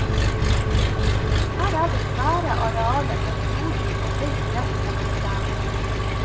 Her er det svære arealer med frodig og høyt gress mellom trærne.